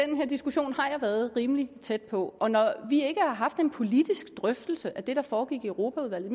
den her diskussion har jeg været rimelig tæt på og når vi ikke har haft en politisk drøftelse af det der foregik i europaudvalget